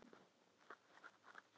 Tirsa, hækkaðu í græjunum.